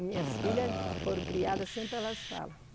Minhas filhas foram criadas, sempre elas falam.